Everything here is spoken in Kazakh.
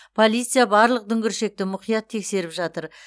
полиция барлық дүңгіршекті мұқият тексеріп жатыр